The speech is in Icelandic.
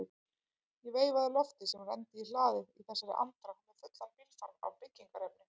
Ég veifaði Lofti sem renndi í hlaðið í þessari andrá með fullan bílfarm af byggingarefni.